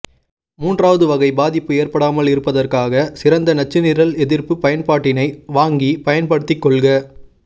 மூன்றாவது வகை பாதிப்பு ஏற்படாமல் இருப்பதற்காக சிறந்த நச்சுநிரல் எதிர்ப்பு பயன்பாட்டினை வாங்கி பயன்படுத்தி கொள்க